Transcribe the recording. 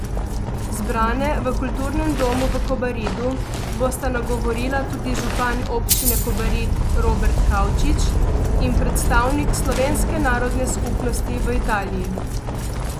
Zbrane v kulturnem domu v Kobaridu bosta nagovorila tudi župan Občine Kobarid Robert Kavčič in predstavnik slovenske narodne skupnosti v Italiji.